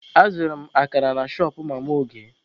Azụrụ m akara na shọpụ mama Oge.